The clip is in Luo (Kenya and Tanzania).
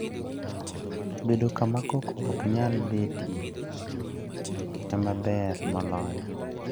Bedo kama koko ok nyal betie e ma ber moloyo.